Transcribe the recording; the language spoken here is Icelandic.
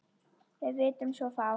Við vitum svo fátt.